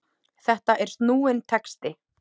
Þetta er snúinn texti.